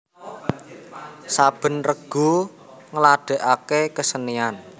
Saben regu ngladèkaké kesenian